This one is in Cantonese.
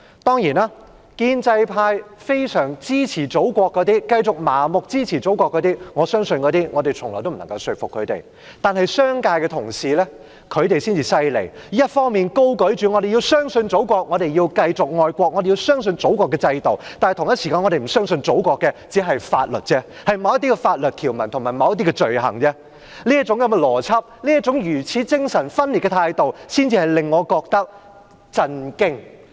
當然，對於那些非常支持祖國的建制派，我相信我們從來不能說服他們；但商界的同事真厲害，一方面高舉着"我們要相信祖國，我們要繼續愛國，我們要相信祖國的制度"，但同時間又不相信祖國的法律——關乎某些法律條文及某些罪行類別——這種邏輯和如此精神分裂的態度，才令我覺得震驚。